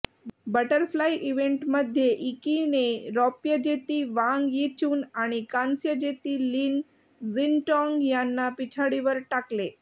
butterfly इव्हेंटमध्ये इकीने रौप्यजेती वांग यिचून आणि कांस्यजेती लिन क्झिनटाँग यांना पिछाडीवर टाकले